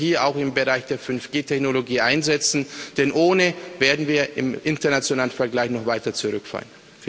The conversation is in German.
Sie sollten wir auch im Bereich der 5G Technologie einsetzen, denn ohne werden wir im internationalen Vergleich noch weiter zurückfallen.